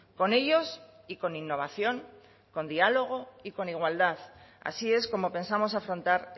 con ellos y con innovación con diálogo y con igualdad así es como pensamos afrontar